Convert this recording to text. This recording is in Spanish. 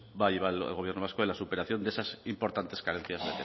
va a llevar el gobierno vasco en la superación de esas importantes carencias